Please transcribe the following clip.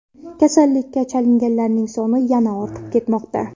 Kasallikka chalinganlar soni yana ortib ketmoqda.